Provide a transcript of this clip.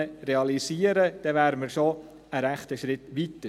Dann wären wir schon einen ziemlichen Schritt weiter.